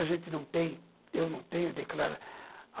A gente não tem, eu não tenho, eu declaro.